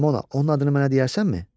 Ramona onun adını mənə deyərsənmi?